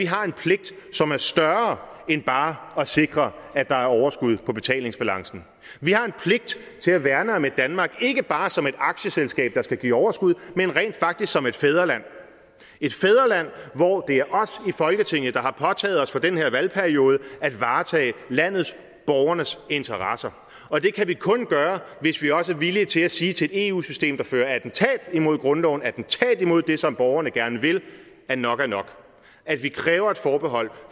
har en pligt som er større end bare at sikre at der er overskud på betalingsbalancen vi har en pligt til at værne om et danmark ikke bare som et aktieselskab der skal give overskud men rent faktisk som et fædreland et fædreland hvor det er os i folketinget der har påtaget os for den her valgperiode at varetage landets borgernes interesser og det kan vi kun gøre hvis vi også er villige til at sige til et eu system der fører attentat imod grundloven attentat imod det som borgerne gerne vil at nok er nok at vi kræver et forbehold